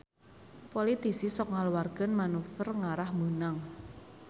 Politisi sok ngaluarkeun manuver ngarah meunang